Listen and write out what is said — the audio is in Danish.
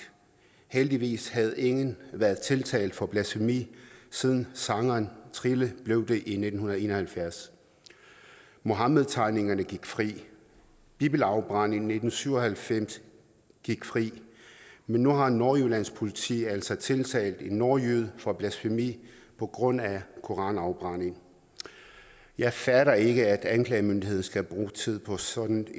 heldigvis havde ingen været tiltalt for blasfemi siden sangeren trille blev det i nitten en og halvfjerds muhammedtegnerne gik fri bibelafbrænderne i nitten syv og halvfems gik fri men nu har nordjyllands politi altså tiltalt en nordjyde for blasfemi på grund af en koranafbrænding jeg fatter ikke at anklagemyndigheden skal bruge tid på sådan